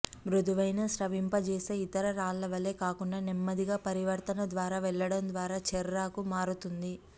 మృదువైన స్రవింపజేసే ఇతర రాళ్ళ వలె కాకుండా నెమ్మదిగా పరివర్తన ద్వారా వెళ్ళడం ద్వారా చెర్రాకు మారుతుంది